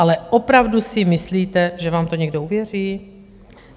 Ale opravdu si myslíte, že vám to někdo uvěří?